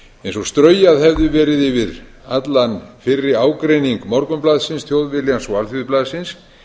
eins og straujað hefði verið yfir allan fyrri ágreining morgunblaðsins þjóðviljans og alþýðublaðsins